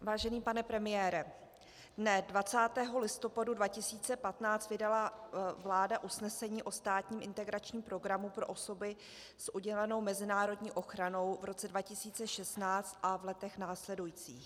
Vážený pane premiére, dne 20. listopadu 2015 vydala vláda usnesení o státním integračním programu pro osoby s udělenou mezinárodní ochranou v roce 2016 a v letech následujících.